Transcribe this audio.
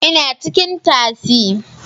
Ina cikin taksi